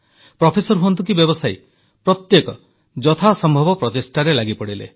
professor ହୁଅନ୍ତୁ କି ବ୍ୟବସାୟୀ ପ୍ରତ୍ୟେକ ଯଥାସମ୍ଭବ ପ୍ରଚେଷ୍ଟାରେ ଲାଗିପଡ଼ିଲେ